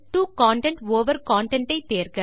2 content over content